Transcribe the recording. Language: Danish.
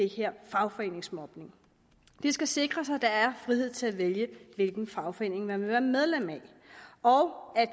her fagforeningsmobning det skal sikres at der er frihed til at vælge hvilken fagforening man vil være medlem af og at